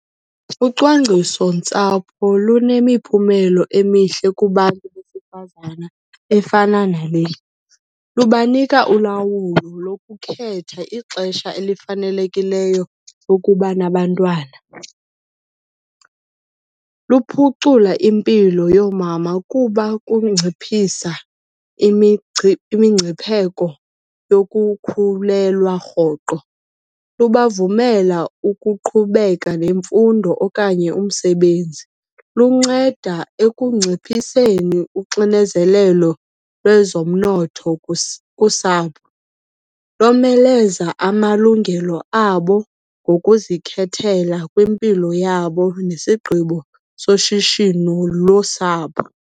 Ucwangcisontsapho lunemiphumelo emihle kubantu besifazana efana nale. Lubanika ulawulo lokukhetha ixesha elifanelekileyo lokuba nabantwana. Luphucula impilo yoomama kuba kunciphisa imingcipheko yokukhulelwa rhoqo. Lubavumela ukuqhubeka nemfundo okanye umsebenzi. Lunceda ekunciphiseni uxinezelelo lwezomnotho kusapho. Lomeleza amalungelo abo ngokuzikhethela kwimpilo yabo nesigqibo soshishino losapho.